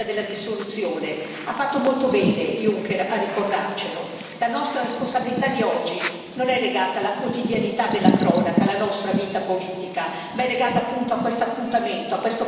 Ha fatto molto bene, il Presidente Juncker, a ricordarcelo. La nostra responsabilità di oggi non è legata alla quotidianità della cronaca, alla nostra vita politica, ma è legata a questo appuntamento, a questo passaggio con la storia.